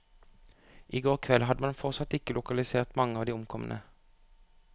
I går kveld hadde man fortsatt ikke lokalisert mange av de omkomne.